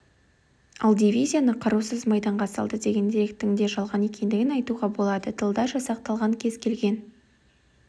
ал дивизияны қарусыз майданға салды деген деректің де жалған екендігін айтуға болады тылда жасақталған кез келген